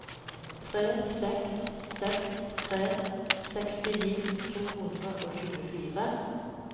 tre seks seks tre sekstini to hundre og tjuefire